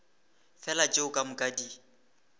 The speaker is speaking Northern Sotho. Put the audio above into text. fela tšeo ka moka di